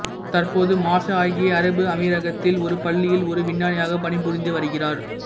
தற்போது மாஷா ஐக்கிய அரபு அமீரகத்தில் ஒரு பள்ளியில் ஒரு விஞ்ஞானியாக பணிபுரிந்து வருகிறார்